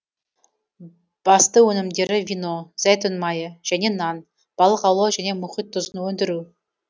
басты өнімдері вино зәйтүн майы және нан балық аулау және мұхит тұзын өндіру